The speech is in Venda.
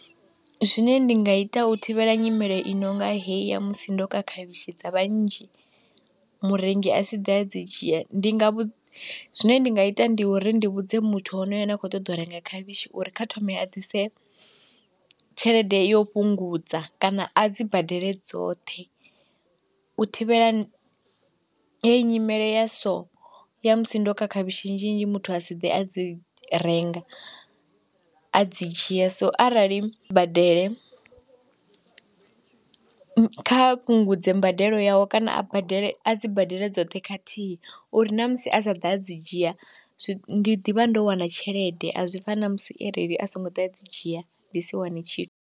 Zwine ndi nga ita u thivhela nyimele i nonga heyi ya musi ndo ka khavhishi dza vha nnzhi murengi a si ḓe a dzi dzhia ndi nga vhu, zwine ndi nga ita ndi uri ndi vhudze muthu honoyo ane a khou ṱoḓa u renga khavhishi uri kha thome a ḓise tshelede yo fhungudza kana a dzi badele dzoṱhe, u thivhela heyi nyimele ya so ya musi ndo ka khavhishi nnzhi nnzhi muthu a si ḓe a dzi renga, a dzi dzhia so arali badele kha fhungudze mbadelo yawe kana a badele a dzi badele dzoṱhe khathihi, uri na musi a sa ḓa a dzi dzhia ndi ḓivha ndo wana tshelede a zwi fani na musi arali a songo ḓa dzi dzhia ndi si wane tshi.